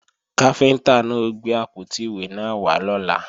Káfíntá náà ó gbé àpótí ìwé náà wá lọ́la